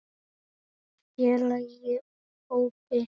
Félagi úr hópi